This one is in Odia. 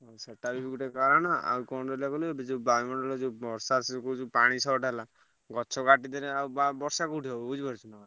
ହୁଁ ସେଟା ବି ଗୋଟେ କାରଣ ଆଉ କଣ ହେଲା କହିଲୁ ଏଠି ଯୋଉ ବାୟୁମଣ୍ଡଳରେ ଯୋଉ ବର୍ଷା ପାଣି short ହେଲା ଗଛ କାଟିଦେଲେ ଆଉ ବ~ ବର୍ଷା କୋଉଠି ହବ ବୁଝିପାରୁଛୁନା।